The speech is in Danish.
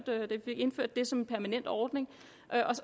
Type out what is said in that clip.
indført det som en permanent ordning